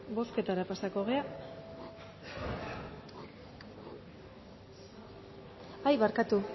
bozketara pasako gera ai barkatu